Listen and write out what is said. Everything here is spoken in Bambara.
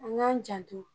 An k'an janto